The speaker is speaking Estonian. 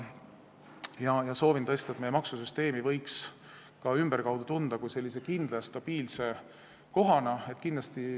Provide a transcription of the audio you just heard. Soovin tõesti, et meid ka ümberkaudsetes riikides tuntaks meie maksusüsteemi põhjal kindla ja stabiilse kohana.